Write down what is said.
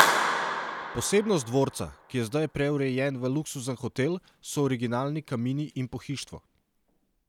Posebnost dvorca, ki je zdaj preurejen v luksuzen hotel, so originalni kamini in pohištvo.